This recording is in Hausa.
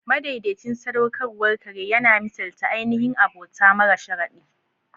Madaidaicin sadaukarwar kare yana misalta ainihin abota mara sharadi.